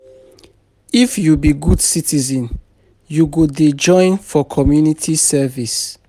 If you be good citizen, you go dey join for community service.